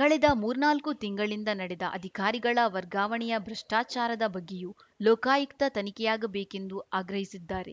ಕಳೆದ ಮೂರ್ನಾಲ್ಕು ತಿಂಗಳಿಂದ ನಡೆದ ಅಧಿಕಾರಿಗಳ ವರ್ಗಾವಣೆಯ ಭ್ರಷ್ಟಾಚಾರದ ಬಗ್ಗೆಯೂ ಲೋಕಾಯುಕ್ತ ತನಿಖೆಯಾಗಬೇಕೆಂದು ಆಗ್ರಹಿಸಿದ್ದಾರೆ